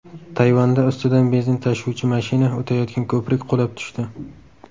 Tayvanda ustidan benzin tashuvchi mashina o‘tayotgan ko‘prik qulab tushdi .